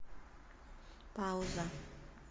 пауза